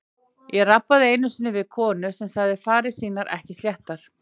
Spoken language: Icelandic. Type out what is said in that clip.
Ég rabbaði einu sinni við konu sem sagði farir sínar ekki sléttar.